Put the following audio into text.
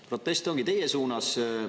Protesti ongi teie suunas.